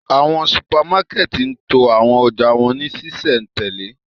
Awọn supamakẹti ń to awọn ọja wọn ni ṣiṣẹntẹle